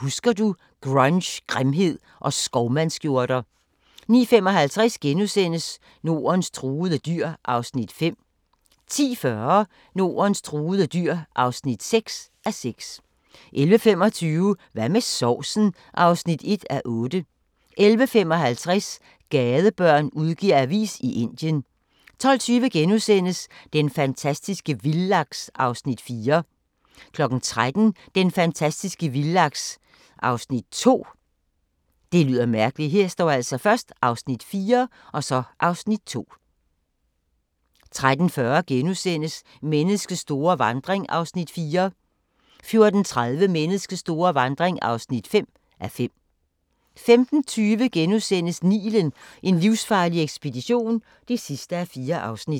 Husker du – Grunge, grimhed og skovmandsskjorter * 09:55: Nordens truede dyr (5:6)* 10:40: Nordens truede dyr (6:6) 11:25: Hvad med sovsen? (1:8) 11:55: Gadebørn udgiver avis i Indien 12:20: Den fantastiske vildlaks (Afs. 4)* 13:00: Den fantastiske vildlaks (Afs. 2) 13:40: Menneskets store vandring (4:5)* 14:30: Menneskets store vandring (5:5) 15:20: Nilen: en livsfarlig ekspedition (4:4)*